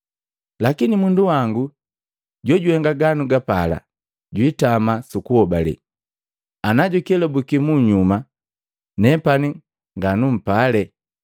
Lakini mundu wangu jojuhenga ganagapala jwiitama su kuhobale; Ana jukelabwiki munyuma nepani nganampale.”